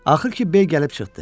Axır ki, B gəlib çıxdı.